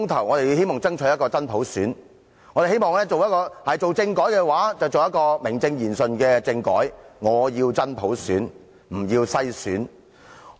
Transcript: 我們希望爭取真普選，我們希望如果推行政改，便推行名正言順的政改，我要真普選，不要篩選。